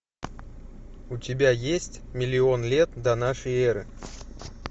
у тебя есть миллион лет до нашей эры